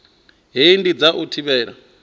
hei ndi dza u thivhela